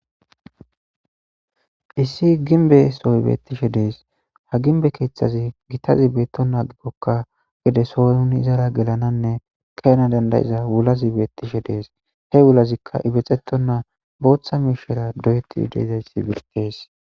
issi ginbe soybetishe dees ha ginbe keeththazi gitazi beetto naa gikkokka gede sooynun izara gelananne kayana dandayiza wulaz ibeettishe dees he wulazikka ibexeto naa booththa miishera doyetti deezayssi beqtees